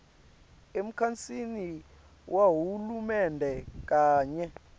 emkhatsini wahulumende kanye